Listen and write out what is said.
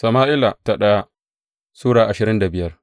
daya Sama’ila Sura ashirin da biyar